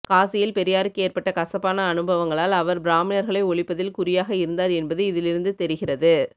காசியில் பெரியாருக்கு ஏர்பெட்ட கசப்பான அனுபவங்களால் அவர் பிராமணர்களை ஒழிப்பதில் குறியாக இருந்தார் எனபது இதில் இருந்து தெரிகிறது